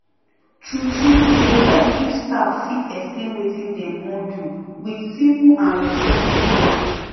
truetrue e dey help if staff fit explain wetin dem wan do with simple and respectful way